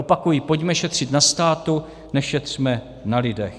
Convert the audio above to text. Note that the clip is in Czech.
Opakuji: pojďme šetřit na státu, nešetřme na lidech.